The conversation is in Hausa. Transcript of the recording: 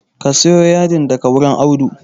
Ka sayi yadin daga wurin Audu